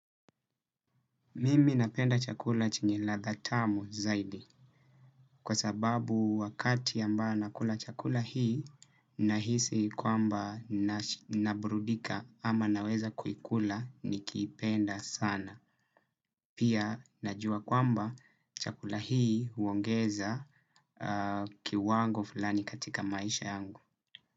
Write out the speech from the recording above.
Mimi napenda chakula chenye ladha tamu zaidi kwa sababu wakati ambao nakula chakula hii nahisi kwamba naburudika ama naweza kuikula nikiipenda sana. Pia najua kwamba chakula hii huongeza kiwango fulani katika maisha yangu.